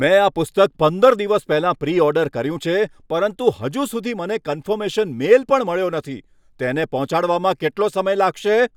મેં આ પુસ્તક પંદર દિવસ પહેલાં પ્રી ઓર્ડર કર્યું છે પરંતુ હજુ સુધી મને કન્ફર્મેશન મેઇલ પણ મળ્યો નથી. તેને પહોંચાડવામાં કેટલો સમય લાગશે?